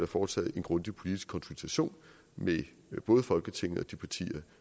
foretaget en grundig politisk konsultation med både folketinget og de partier